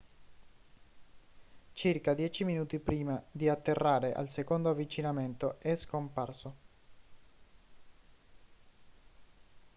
circa dieci minuti prima di atterrare al secondo avvicinamento è scomparso